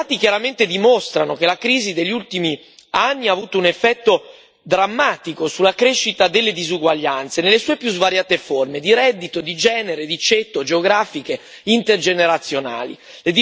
I dati chiaramente dimostrano che la crisi degli ultimi anni ha avuto un effetto drammatico sulla crescita delle disuguaglianze nelle sue più svariate forme di reddito, di genere, di ceto, geografiche, intergenerazionali.